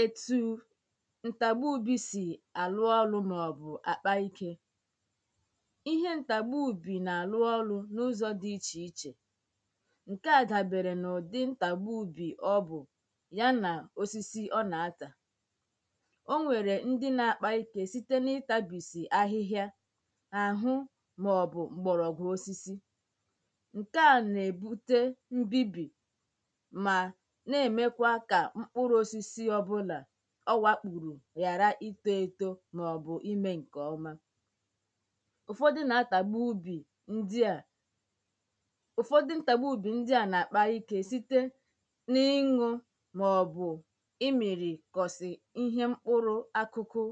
etu ntagba ubi si arụ ọrụ maọbụ akpa ike ihe ntagba ubi na-arụ ọrụ n’ụzọ dị iche iche nke a dabere na ụdị ntagba ubi ọ bụ ya na osisi ọ na-atà o nwere ndị na-akpa ike site na ịtabisi ahịhịa ahụ maọbụ mgbọrọgwụ osisi nke a na-ebute mbibi ọwakpụrụ̇ ghàra itȯ etȯ màọ̀bụ̀ imė ǹkè ọma ụ̀fọdụ nà-atàgbu ubì ndị à ụ̀fọdụ nà-atàgbu ubì ndị à nà-àkpa ikė site n’inwụ̇ màọ̀bụ̀ imìrì kọ̀sị̀ ihe mkpụrụ akụkụ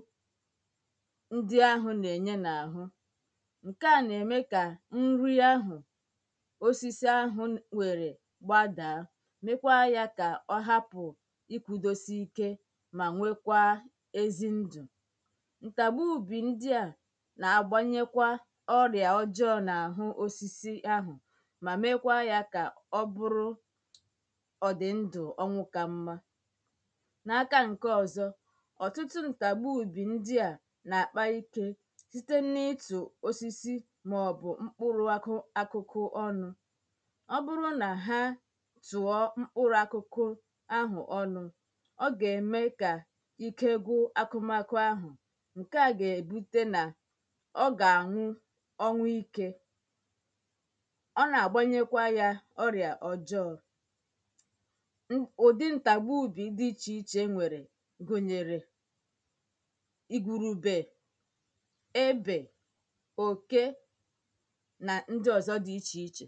ndị ahụ̇ nà-ènye n’àhụ ǹke à nà-ème kà nrị ahụ̀ osisi ahụ̀ nwèrè gbàdàa mà nwekwaa ezi ndụ̀ ǹtàgba ùbì ndị à nà-agbanyekwa ọrị̀à ọjọọ n’àhụ osisi ahụ̀ mà mekwaa yȧ kà ọ bụrụ ọ̀dị̀ ndụ̀ ọnwụ kà mma n’aka ǹke ọ̀zọ ọ̀tụtụ ǹtàgba ùbì ndị à nà-àkpa ikė site na-itù osisi màọ̀bụ̀ mkpụrụ akụkụ ọnụ̇ ọ gà-ème kà ike gwụ̇ akụmakụ̇ ahụ̀ ǹke à gà-èbute nà ọ gà-àṅụ ọṅụ́ike ọ nà-àgbanyekwa yȧ ọrịà ọ̀jọọ ụ̀dị ǹtàgbù ùbì dị ichè ichè nwèrè gùnyèrè igwùrùbe ebè òke nà ndị ọ̀zọ dị ichè ichè